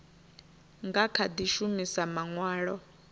nga kha di shumisa manwalo